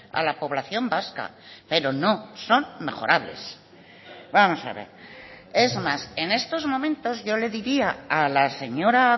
a la población vasca pero no son mejorables vamos a ver es más en estos momentos yo le diría a la señora